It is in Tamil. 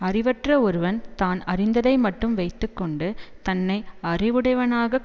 அறிவற்ற ஒருவன் தான் அறிந்ததை மட்டும் வைத்து கொண்டு தன்னை அறிவுடையவனாகக்